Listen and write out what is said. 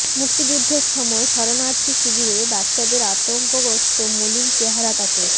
মুক্তিযুদ্ধের সময় শরণার্থী শিবিরে বাচ্চাদের আতঙ্কগ্রস্ত মলিন চেহারা তাঁকে